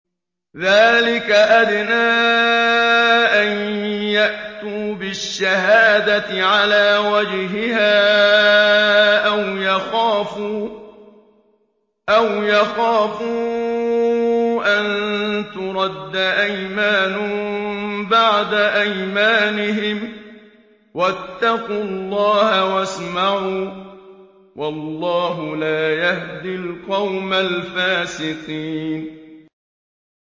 ذَٰلِكَ أَدْنَىٰ أَن يَأْتُوا بِالشَّهَادَةِ عَلَىٰ وَجْهِهَا أَوْ يَخَافُوا أَن تُرَدَّ أَيْمَانٌ بَعْدَ أَيْمَانِهِمْ ۗ وَاتَّقُوا اللَّهَ وَاسْمَعُوا ۗ وَاللَّهُ لَا يَهْدِي الْقَوْمَ الْفَاسِقِينَ